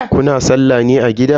Kuna sallah ne a gida?